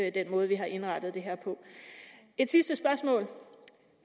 i den måde vi har indrettet det her på et sidste spørgsmål